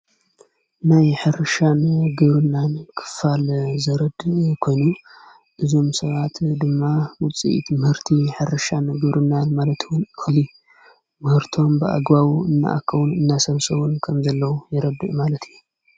ናይ ሕርሻን ገሩናን ክፋል ዘረድ የኮኑ እዞም ሰባት ድማ ውፅኢት ምህርቲ ሓርሻን ግሩናን ማለትወን ሁሊ ምህርቶም ብኣጓቡ እንኣከዉን እናሰምሰዉን ከም ዘለዉ የረድእ ማለት እዩ።